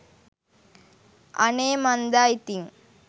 අනේ මන්දා ඉතින්